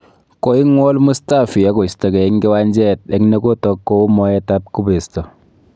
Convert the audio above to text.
Koingwol Mustafi akoistogei eng kiwanjet eng ne kotook kou moet ab kubesto